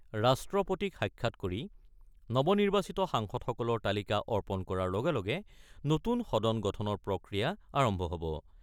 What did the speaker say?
ৰাষ্ট্ৰপতিক সাক্ষাৎ কৰি নৱ-নিৰ্বাচিত সাংসদসকলৰ তালিকা অৰ্পণ কৰাৰ লগে লগে নতুন সদন গঠনৰ প্ৰক্ৰিয়া আৰম্ভ হ'ব।